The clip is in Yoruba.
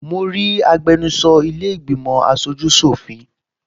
Mo rí agbẹnusọ ilẹ́ ìgbìmọ̀ aṣojú ṣọ̀fin